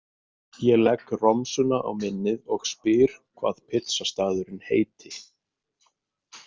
Ég legg romsuna á minnið og spyr hvað pítsustaðurinn heiti.